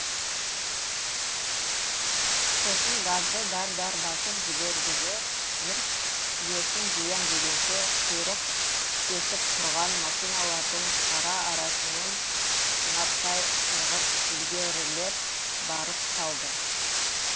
сосын газды дар дар басып жіберді де жұрт есін жиям дегенше құйрық тістесіп тұрған машиналардың ара арасымен сынаптай сырғып ілгерілеп барып қалды